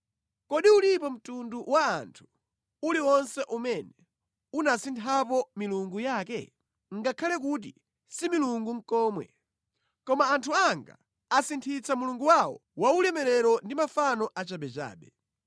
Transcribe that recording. Kodi ulipo mtundu wa anthu uliwonse umene unasinthapo milungu yake? (Ngakhale kuti si milungu nʼkomwe). Koma anthu anga asinthitsa Mulungu wawo waulemerero ndi mafano achabechabe.